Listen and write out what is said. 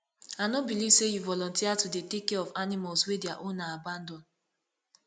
i no beliv sey you volunteer to dey take care of animals wey their owner abandon